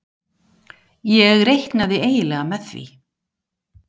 Ég reiknaði eiginlega með því.